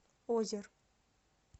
озер